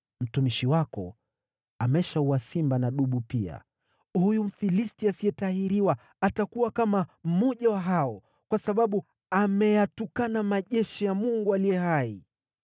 Mtumishi wako ameshaua simba na dubu pia; huyu Mfilisti asiyetahiriwa atakuwa kama mmoja wa hao, kwa sababu ameyatukana majeshi ya Mungu aliye hai.